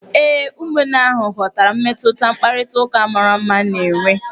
Ee, ụmụnne ahụ ghọtara mmetụta mkparịtaụka mara mma na-enwe.